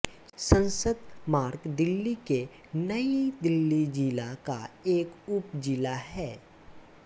संसद मार्ग दिल्ली के नई दिल्ली जिला का एक उप जिला है